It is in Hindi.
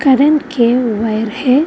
करेंट के वायर है।